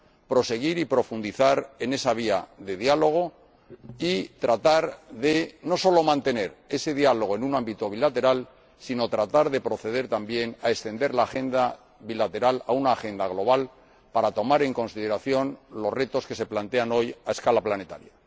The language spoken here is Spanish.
proseguir y profundizar en esa vía de diálogo y tratar no solo de mantener ese diálogo en un ámbito bilateral, sino también de proceder a extender la agenda bilateral, convirtiéndola en una agenda global, para tomar en consideración los retos que se plantean hoy a escala planetaria.